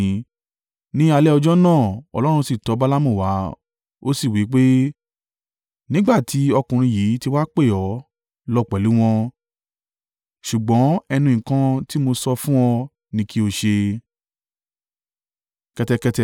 Ní alẹ́ ọjọ́ náà Ọlọ́run sì tọ Balaamu wá ó sì sọ wí pé, “Nígbà tí ọkùnrin yìí ti wá pè ọ́, lọ pẹ̀lú wọn, ṣùgbọ́n ẹnu nǹkan tí mo sọ fún ọ ni kí o ṣe.”